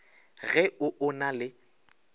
ge o o na le